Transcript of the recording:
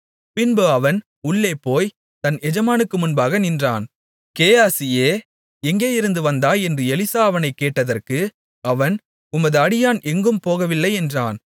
பின்பு அவன் உள்ளேபோய்த் தன் எஜமானுக்கு முன்பாக நின்றான் கேயாசியே எங்கேயிருந்து வந்தாய் என்று எலிசா அவனைக் கேட்டதற்கு அவன் உமது அடியான் எங்கும் போகவில்லை என்றான்